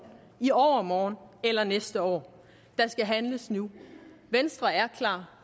i overmorgen eller næste år der skal handles nu venstre er klar